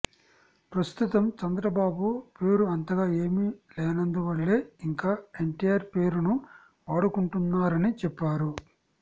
ప్రస్తుతం చంద్రబాబు పేరు అంతగా ఏమి లేనందువల్లే ఇంకా ఎన్టీఆర్ పేరును వాడుకుంటున్నారని చెప్పారు